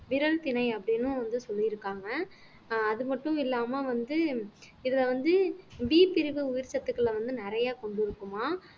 விரகு திணை அப்படின்னும் வந்து சொல்லியிருக்காங்க அது மட்டும் இல்லாம வந்து இதுல வந்து B பிரிவு உயிர் சத்துக்களை வந்து நிறைய கொண்டிருக்குமாம்